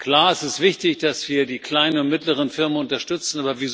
Klar, es ist wichtig, dass wir die kleinen und mittleren Firmen unterstützen.